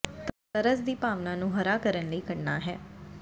ਤਰਸ ਦੀ ਭਾਵਨਾ ਨੂੰ ਹਰਾ ਕਰਨ ਲਈ ਕਰਨਾ ਹੈ